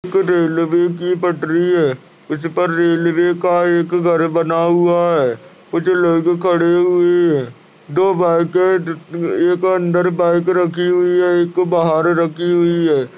Railway की पटरी है| उस पर रेलवे का एक घर बना हुआ है| कुछ लोग खड़े हुए हैं| दो बाइके एक अंदर बाइक रखी हुई है एक बाहर रखी हुई है।